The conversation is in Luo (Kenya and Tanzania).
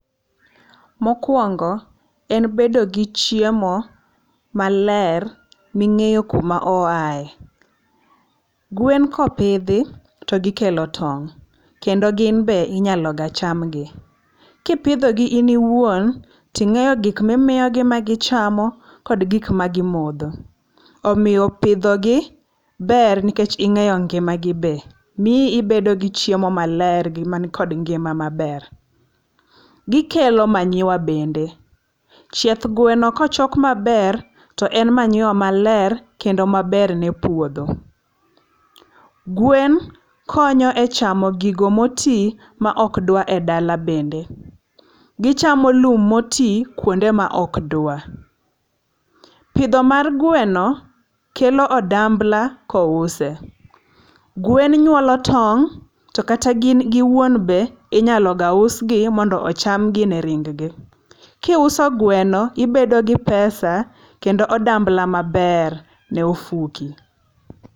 Mokuongo en bedo gi chiemo ma ler mi ing'eyo ku ma oae. wen ka opidhi to gi kelo tong' kendo gin be inyalo ga chamgi. Ki ipidho gi in iwuon ti ing'eyo gik mi imiyo gi ma gi chamo kod gik ma gi modho omiyo pidho gi ber nikech ing'eyo ngima gi be. Mi ibed gi chiemo ma ler gi man kod ngima ma ber. Gi kelo manyiwa bende, chieth gweno ka ochok ma ber to en manyiwa ma ler kendo ma ber ne puodho. Gwen konyo e chamo gigo ma oti ma ok dwa e dala bende, gi chamo lum ma oti kuonde ma ok dwa. Pidho mar gweno kelo odambla ka ouse. Gwen nyuolo tong' to kata gin gi wuon be inyalo ga usgi mondo ochamgi ne ring gi. Ki iuso gweno ibedo gi pesa kendo odambla ma ber ne ofuki.